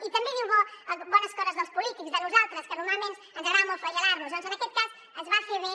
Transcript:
i també diu bones coses dels polítics de nosaltres que normalment ens agrada molt flagel·lar nos doncs en aquest cas es va fer bé